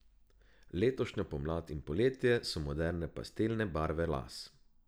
Letošnjo pomlad in poletje so moderne pastelne barve las.